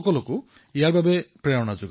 নিজ ভাষা উন্নতি অহে সব উন্নতি কো মূল